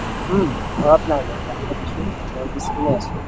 উম ঘৰত নাই মই বাহিৰত আছো ঘৰৰ পিছ পিনে আছো